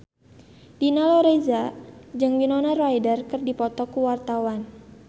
Dina Lorenza jeung Winona Ryder keur dipoto ku wartawan